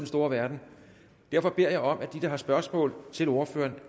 store verden derfor beder jeg om at de der har spørgsmål til ordføreren